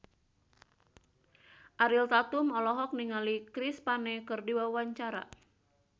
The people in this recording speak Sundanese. Ariel Tatum olohok ningali Chris Pane keur diwawancara